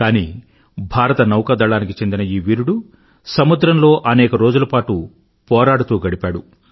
కానీ భారత నౌకా దళానికి చెందిన ఈ వీరుడు సముద్రంలో అనేక రోజుల పాటు పోరాడుతూ గడిపాడు